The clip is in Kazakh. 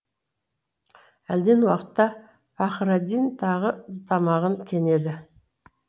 әлден уақытта пахраддин тағы тамағын кенеді